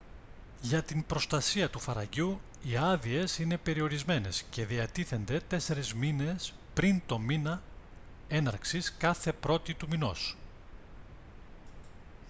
για την προστασία του φαραγγιού οι άδειες είναι περιορισμένες και διατίθενται 4 μήνες πριν τον μήνα έναρξης κάθε πρώτη του μηνός